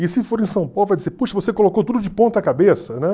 E se for em São Paulo vai dizer, poxa, você colocou tudo de ponta cabeça, né?